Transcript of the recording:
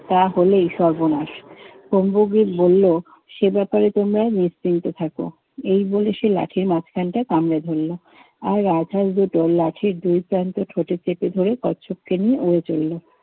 তাহলেই সর্বনাশ। কুম্ভগ্রিত বলল, সে ব্যাপারে তোমরা নিশ্চিন্ত থাকো। এই বলে সে লাঠির মাঝখানটা কামড়ে ধরল। আর রাজহাঁস দুটো লাঠির দুই প্রান্ত ঠোঁটে চেপে ধরে কচ্ছপকে নিয়ে উড়ে চললো।